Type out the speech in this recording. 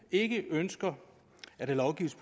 ikke ønsker at der lovgives